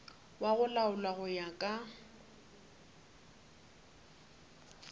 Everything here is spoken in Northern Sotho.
go laolwa go ya ka